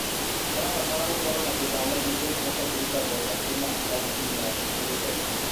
ũrabatara gũkorũo na kĩbande nĩguo ũhote kũruta mbeca kuuma akaũnti-inĩ yaku ũrĩ bengi.